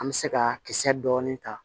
An bɛ se ka kisɛ dɔɔnin ta